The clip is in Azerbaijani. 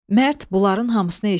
Mərd bunların hamısını eşitdi.